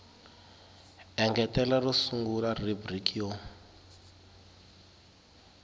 engetela ro sungula rhubiriki yo